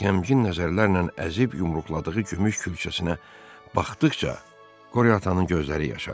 Qəmgin nəzərlərlə əzib yumruqladığı gümüş külçəsinə baxdıqca Qori atanın gözləri yaşarırdı.